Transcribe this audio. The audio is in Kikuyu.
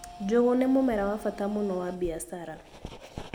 Njũgũ nĩ mũmera wa bata mũno wa mbiacara.